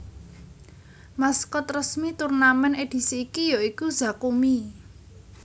Maskot resmi turnamèn edisi iki ya iku Zakumi